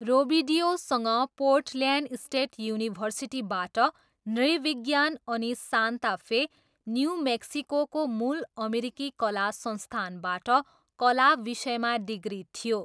रोबिडिओसँग Portland State युनिभर्सिटीबाट नृविज्ञान अनि सान्ता फे, न्यु मेक्सिकोको मूल अमेरिकी कला संस्थानबाट कला विषयमा डिग्री थियो।